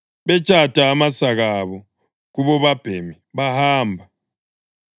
betshata amasaka abo kubobabhemi bahamba.